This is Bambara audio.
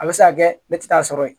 A bɛ se ka kɛ ne tɛ t'a sɔrɔ yen